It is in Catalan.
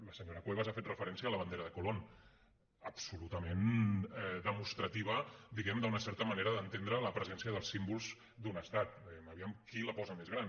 la senyora cuevas ha fet referència a la bandera de colón absolutament demostrativa diguem ne d’una certa manera d’entendre la presència dels símbols d’un estat vejam qui la posa més gran